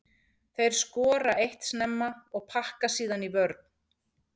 Þeir skora eitt snemma og pakka síðan í vörn.